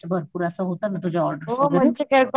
च्या भरपूर असं होत ना तुझ्या ऑर्डर वैगेरे.